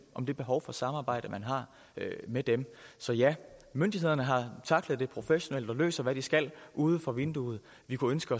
om det behov for samarbejde man har med dem så ja myndighederne har tacklet det professionelt og løser hvad de skal uden for vinduerne vi kunne ønske